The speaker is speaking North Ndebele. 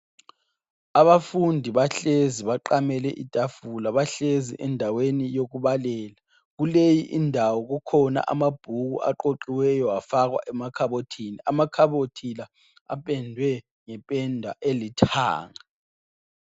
Abafundi bahlezi baqamele itafula. Bahlezi endaweni yokubalela. Kuleyi indawo kukhona amabhuku aqoqiweyo afakwa emakhabothini. Amakhabothi la apendwe ngependa elithanga.